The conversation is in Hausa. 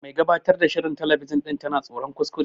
Mai gabatar ta shirin telebijin ɗin tana tsoron kuskure.